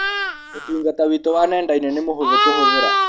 ũtungata witũ wa nenda-inĩ nĩ mũhũthũ kũhũthĩra.